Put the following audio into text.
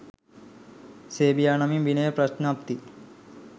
සේබියා නමින් විනය ප්‍රඥප්ති